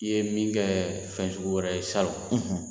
I ye min kɛ fɛn sugu wɛrɛ ye salon.